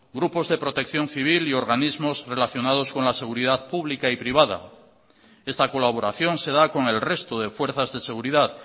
grupos de protección civil y organismos relacionados con la seguridad pública y privada esta colaboración se da con el resto de fuerzas de seguridad